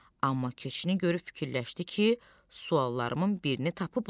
Amma keçini görüb fikirləşdi ki, suallarımın birini tapıblar.